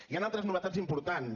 hi han altres novetats importants